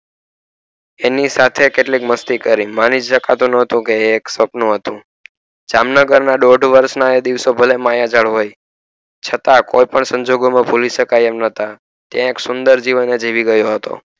એમની સાથે કેટલી કે masti કરી મને જ દેખાતું નોતું કે એ એક સપનું હતું જામનગર ના દોઢ વર્ષ ના દિવસો ભલે એ માયાજાળ હોય છતાં કોઈ પણ સંજોગો માં ભૂલી શકાય એમ નોતો ત્યાં એક સુંદર જીવન જીવી ગયો હતો.